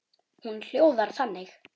Hún hljóðar þannig: